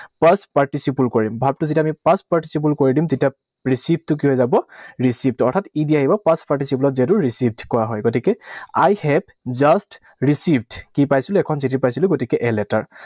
Past participle কৰিম। Verb টো যেতিয়া আমি past participle কৰি দিম তেতিয়া receive টো কি হৈ যাব? Received, অৰ্থাৎ E D আহিব। Past participle ত যিহেতু received কৰা হয়। গতিকে I have just received, কি পাইছিলো? এখন চিঠি পাইছিলো। গতিকে a letter